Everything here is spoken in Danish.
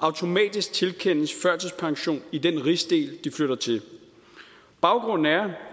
automatisk tilkendes førtidspension i den rigsdel de flytter til baggrunden er